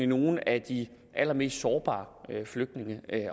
nogle af de allermest sårbare flygtninge